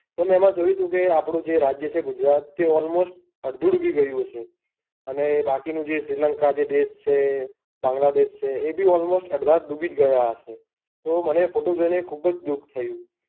તો મેં એમાં જોયું હતું કે આપણું જે રાજ્ય છે ગુજરાત તે almost અડધું ડૂબી ગયું હશે. અને બાકીના જે શ્રીલંકા જે દેશ છે, બાંગ્લાદેશ છે એબી almost અડધા ડૂબી ગયા હશે. પણ મને એ photo જોઈને બૌ જ દુઃખ થયું.